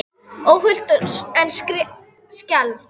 Óhult en skelfd.